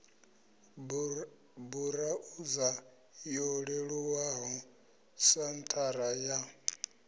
burauza yo leluwaho senthara ya